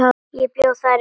Ég bjó þar eitt sumar.